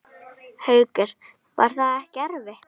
Haukur: Var það ekkert erfitt?